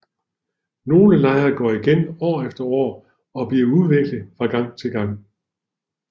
Nogle lejre går igen år efter år og bliver udviklet fra gang til gang